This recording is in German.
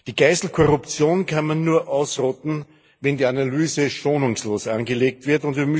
Die Geißel Korruption kann man nur ausrotten, wenn die Analyse schonungslos angelegt wird.